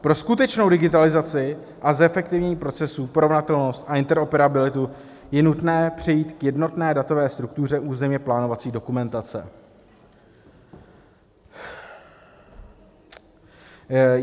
Pro skutečnou digitalizaci a zefektivnění procesů, porovnatelnost a interoperabilitu je nutné přejít k jednotné datové struktuře územně plánovací dokumentace.